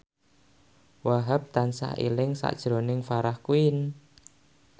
Wahhab tansah eling sakjroning Farah Quinn